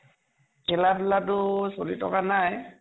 খেলা ধোলাতো চলি থকা নাই।